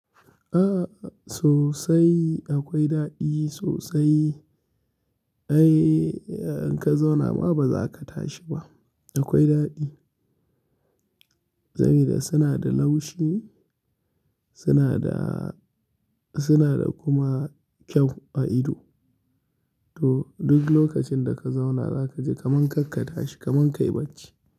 A'a sosai, akwai daɗi sosai. Ai in ka zauna ma ba za ka tashi ba. Akwai daɗi saboda suna da laushi, suna da, suna da kuma kyau a ido. To duk lokacin da ka zauna za ka ji kaman kar ka tashi kaman ka yi bacci.